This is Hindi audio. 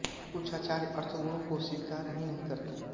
कुछ आचार्य अर्थगुणों को स्वीकार ही नहीं करते